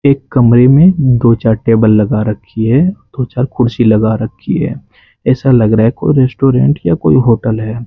एक कमरे में दो चार टेबल लगा रखी है दो चार कुर्सी लगा रखी है ऐसा लग रहा है कोई रेस्टोरेंट या कोई होटल है।